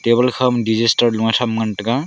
table table kha ma degister luan tham ngan taiga.